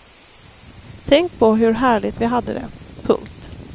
Tänk på hur härligt vi hade det. punkt